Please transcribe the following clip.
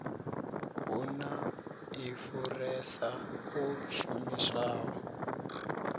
hu na ḽifurase ḽo shumiswaho